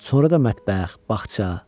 Sonra da mətbəx, bağça.